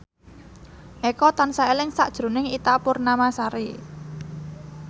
Eko tansah eling sakjroning Ita Purnamasari